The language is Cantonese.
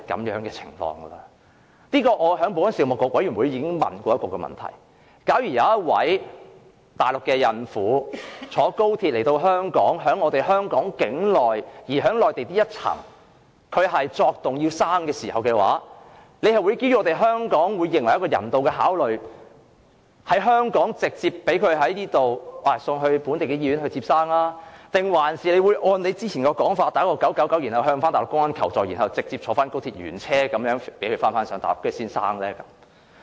我曾在保安事務委員會會議上詢問，假如有一名內地孕婦乘坐高鐵來港，在香港境內的內地口岸區作動需要分娩，屆時會基於香港的人道考慮把她直接送往本地醫院生產，還是按之前的說法撥打999向內地公安求助，然後讓她原車乘高鐵返回內地生產？